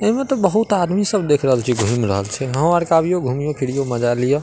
एमे त बहुत आदमी सब देख रहल छि घूम रहल छे हमरो आरका अइयो घूमीयो फिरियो मजा लिया।